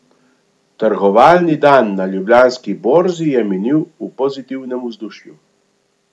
Trgovalni dan na Ljubljanski borzi je minil v pozitivnem vzdušju.